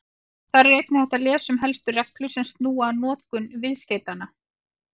Þar er einnig hægt að lesa um helstu reglur sem snúa að notkun viðskeytanna.